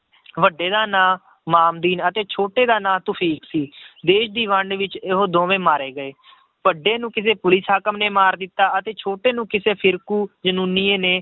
ਵੱਡੇ ਦਾ ਨਾਂ ਮਾਮਦੀਨ ਅਤੇ ਛੋਟੇ ਦਾ ਨਾਂ ਤੁਫ਼ੀਕ ਸੀ, ਦੇਸ ਦੀ ਵੰਡ ਵਿੱਚ ਇਹੋ ਦੋਵੇਂ ਮਾਰੇ ਗਏ ਵੱਡੇ ਨੂੰ ਕਿਸੇ ਪੁਲਿਸ ਹਾਕਮ ਨੇ ਮਾਰ ਦਿੱਤਾ ਅਤੇ ਛੋਟੇ ਨੂੰ ਕਿਸੇ ਫ਼ਿਰਕੂ ਜ਼ਨੂਨੀਏ ਨੇ